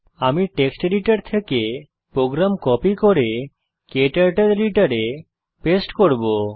আমি text editor থেকে program copy করে ক্টার্টল এডিটরে পেস্ট করব